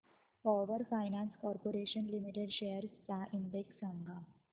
power finance corporation limited shares चा index सांगा